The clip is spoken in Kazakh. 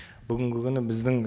бүгінгі күні біздің